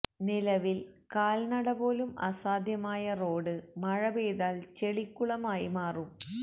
നിലവില് കാല് നടപോലും അസാദ്ധ്യമായ റോഡ് മഴ പെയ്താല് ചെളിക്കുളമായി മാറും